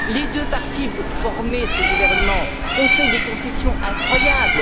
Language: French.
Les deux parties, pour former ce gouvernement, ont fait des concessions incroyables.